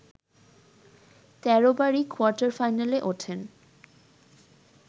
১৩ বারই কোয়ার্টার ফাইনালে ওঠেন